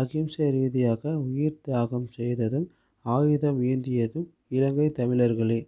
அகிம்சை ரீதியாக உயிர் தியாகம் செய்ததும் ஆயுதம் ஏந்தியதும் இலங்கை தமிழர்களே